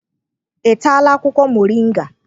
Ị taala akwụkwọ moringa?